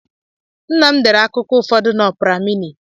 Nna m dere akụkọ ụfọdụ na Ọpra mini.